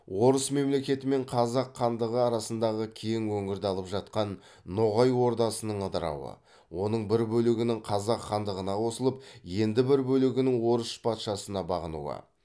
орыс мемлекеті мен қазақ хандығы арасындағы кең өңірді алып жатқан ноғай ордасының ыдырауы оның бір бөлігінің қазақ хандығына қосылып енді бір бөлегінің орыс патшасына бағынуы